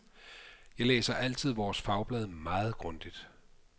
Jeg læser altid vores fagblad meget grundigt.